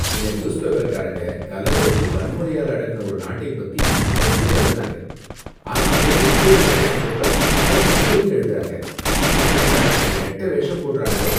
இந்த நியூஸ்பேப்பர்காரங்க கலவரத்தை வன்முறையால அடக்குன ஒரு நாட்டை பத்தி புகழ்ந்து தள்ளுனாங்க, ஆனா அதையே இன்னொரு நாடு செஞ்சப்ப அத தப்புன்னு எழுதறாங்க. எப்படித்தான் இப்படி ரெட்ட வேஷம் போடுறாங்களோ